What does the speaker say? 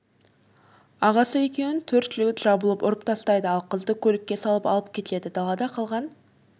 ағасы екеуін төрт жігіт жабылып ұрып тастайды ал қызды көлікке салып алып кетеді далада қалған